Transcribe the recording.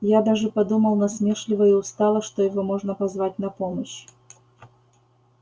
я даже подумал насмешливо и устало что его можно позвать на помощь